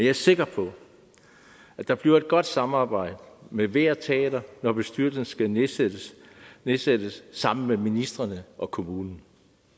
er sikker på at der bliver et godt samarbejde med hvert teater når bestyrelserne skal nedsættes nedsættes sammen med ministrene og kommunen